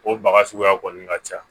O baga suguya kɔni ka ca